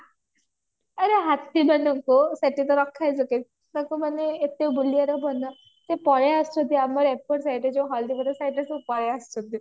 ଆରେ ହାତୀ ମାନଙ୍କୁ ସେଠି ତ ରଖା ଯିବ କେମତି ତାଙ୍କୁ ମାନେ ଏତେ ବୁଲିବାର ମନ ସେ ପଳେଈ ଆସୁଛନ୍ତି ଆମର ଏପଟ site ଯୋଉ ହଳଦିବୋଦ site ରେ ସବୁ ପଳେଈ ଆସୁଛନ୍ତି